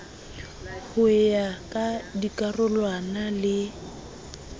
ho ya ka dikarolwana le